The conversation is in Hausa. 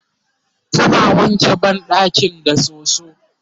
tana wanke banɗakin da soso